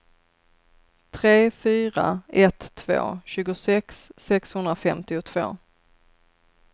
tre fyra ett två tjugosex sexhundrafemtiotvå